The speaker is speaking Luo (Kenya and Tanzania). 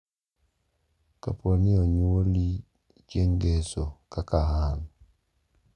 Kapo ni onyuoli chieng' ngeso kaka an,